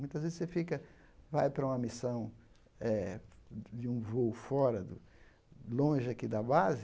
Muitas vezes você fica, vai para uma missão eh de um voo fora, longe aqui da base,